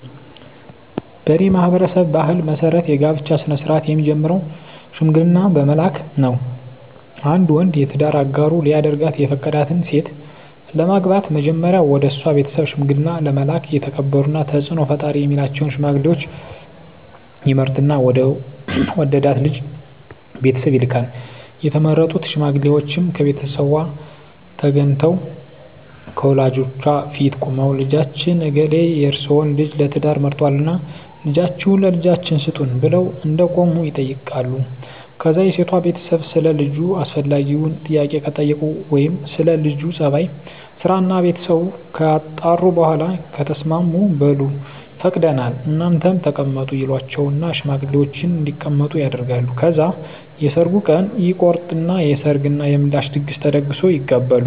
በኔ ማህበረሰብ ባህል መሰረት የጋብቻ ስነ-ስርአት የሚጀምረው ሽምግልና በመላክ ነው። አንድ ወንድ የትዳር አጋሩ ሊያደርጋት የፈቀዳትን ሴት ለማግባት መጀመሪያ ወደሷ ቤተሰብ ሽምግልና ለመላክ የተከበሩና ተጽኖ ፈጣሪ ሚላቸውን ሽማግሌወች ይመርጥና ወደ ወደዳት ልጅ ቤተሰብ ይልካል፣ የተመረጡት ሽማግሌወችም ከሴቷቤት ተገንተው ከወላጆቿ ፊት ቁመው ልጃችን እገሌ የርሰወን ልጅ ለትዳር መርጧልና ልጃችሁን ለልጃችን ስጡን ብለው እንደቆሙ ይጠይቃሉ ከዛ የሴቷ ቤተሰብ ሰለ ልጁ አስፈላጊውን ጥያቄ ከጠየቁ ወይም ስለ ለጁ ጸባይ፣ ስራና ቤተሰቡ ካጣሩ በኋላ ከተስማሙ በሉ ፈቅደናል እናንተም ተቀመጡ ይሏቸውና ሽማግሌወችን እንዲቀመጡ ያደርጋሉ። ከዛ የሰርጉ ቀን ይቆረጥና የሰርግ እና የምላሽ ድግስ ተደግሶ ይጋባሉ።